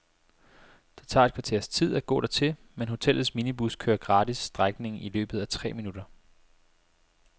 Det tager et kvarters tid at gå dertil, men hotellets minibus kører gratis strækningen i løbet af tre minutter.